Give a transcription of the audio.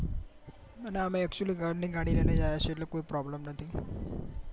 અને અમે actually ઘર ની ગાડી લઈને જ આવ્યા છીએ એટલે કોઈ પ્રોબલમ નથી